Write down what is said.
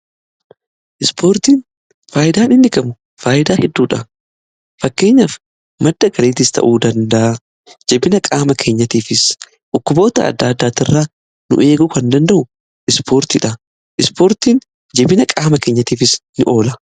Ispoortiin faayyidaan inni qabu faayidaa hedduudha. Fakkeenyaaf madda galiitis ta'uu danda'a. Jabina qaama keenyatiifis dhukkuboota adda addaatiirraa nu eeguu kan danda'u ispoortiidha. Ispoortiin jabina qaama keenyatiifis in oola.